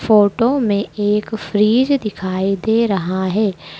Photo में एक fridge दिखाई दे रहा है।